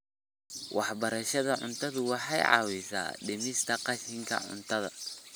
Waxbarashada cuntadu waxay caawisaa dhimista qashinka cuntada.